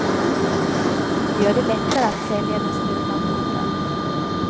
Det gör det lättare att sälja den stulna båten.